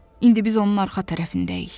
İndi biz onun arxa tərəfindəyik.